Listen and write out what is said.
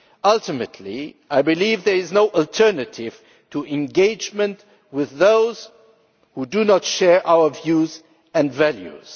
Ultimately, I believe there is no alternative to engagement with those who do not share our views and values.